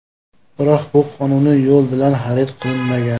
Biroq bu qonuniy yo‘l bilan xarid qilinmagan.